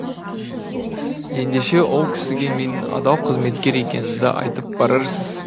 ендеше ол кісіге менің адал қызметкер екенімді айтып барарсыз